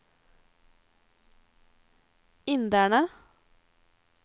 inderne